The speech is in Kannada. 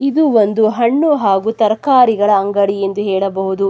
ಇದು ಒಂದು ಹಣ್ಣು ಹಾಗು ತರಕಾರಿಗಳ ಅಂಗಡಿ ಎಂದು ಹೇಳಬಹುದು.